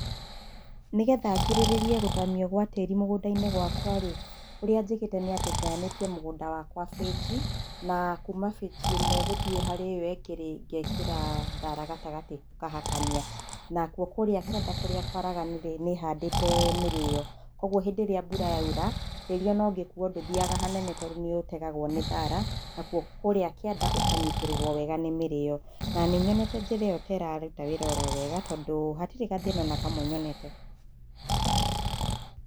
Nĩgetha ngirĩrĩrie gũthamio gwa tĩri mũgũndainĩ gwakwa rĩ, ũria njĩkĩte nĩ atĩ ngayanĩtie mũgũnda wakwa bĩji na kuuma bĩji ĩmwe gũthiĩ harĩ ĩyo ĩngĩ rĩ, ngekĩra thara gatagatĩ ngahakania, nakuo kũrĩa kĩanda kwaraganu rĩ nĩhandite[eehh]mĩrĩo kwoguo hĩndĩ ĩrĩa mbura yaura tĩri ona ũngĩkuwa nduthiaga hanene tondu nĩũtegagwo nĩ thara nakuo kũrĩa kĩanda gũkanyitĩrĩrwa wega nĩ mĩrĩo. Na nĩnyondete njĩra ĩyo ta ĩraruta wĩra oro wega tondu hatirĩ gathĩna ona kwame nyonete .